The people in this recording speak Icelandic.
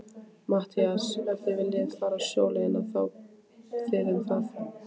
MATTHÍAS: Ef þið viljið fara sjóleiðina, þá þið um það.